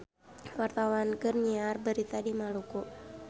Wartawan keur nyiar berita di Maluku